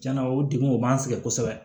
Tiɲɛna o degun o b'an sɛgɛn kosɛbɛ